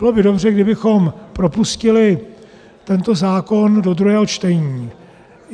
Bylo by dobře, kdybychom propustili tento zákon do druhého čtení.